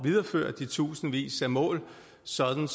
videreføre de tusindvis af mål sådan